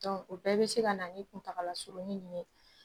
O bɛɛ bɛ se ka na ni kuntaala surunni nin ye